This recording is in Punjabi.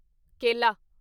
ਕੇਲਾ